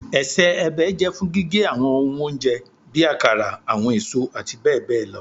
Ẹsẹ-ẹbẹ jẹ fun gige awọn ohun ounjẹ bi akara, awọn eso ati bẹbẹ lọ